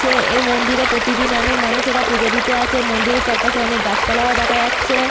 এই মন্দিরে প্রতিদিন অনেক মানুষেরা পূজো দিতে আসে মন্দিরের চারপাশে অনেক গাছপালা ও দেখা যাচ্ছে।